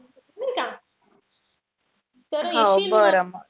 हो बरं मग.